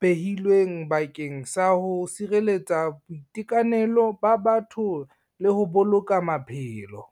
behilweng bakeng sa ho sireletsa boitekanelo ba batho le ho boloka maphelo.